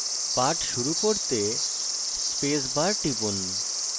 পাঠ শুরু করতে space bar টিপুন